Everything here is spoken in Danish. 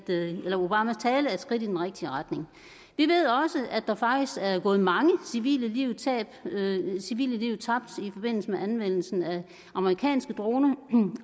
skridt i den rigtige retning vi ved også at der faktisk er gået mange civile liv civile liv tabt i forbindelse med anvendelsen af amerikanske droner